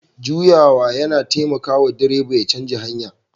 Juyawa yana taimaka wa direba ya canza hanya